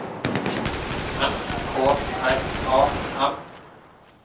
S K R A M